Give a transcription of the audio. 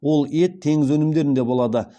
ол ет теңіз өнімдерінде болады